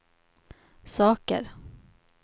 saker